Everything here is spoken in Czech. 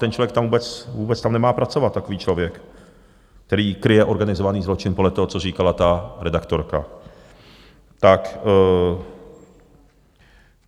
Ten člověk tam vůbec nemá pracovat, takový člověk, který kryje organizovaný zločin, podle toho, co říkala ta redaktorka.